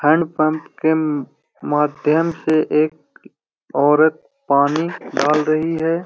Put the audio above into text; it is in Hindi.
हैण्ड पंप के म माध्यम से एक औरत पानी डाल रही है।